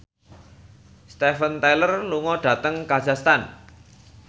Steven Tyler lunga dhateng kazakhstan